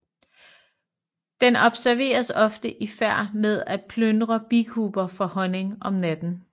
Den observeres ofte i færd med at plyndre bikuber for honning om natten